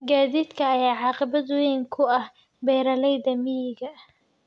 Gaadiidka ayaa caqabad weyn ku ah beeralayda miyiga.